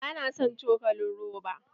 Ba na son cokalin roba!